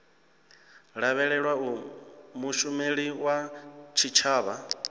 lavhelelwa uri mushumeli wa tshitshavha